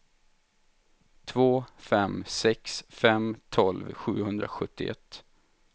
två fem sex fem tolv sjuhundrasjuttioett